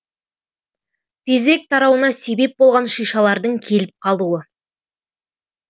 тезірек тарауына себеп болған шишалардың келіп қалуы